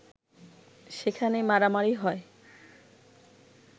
সেখানে মারামারি হয়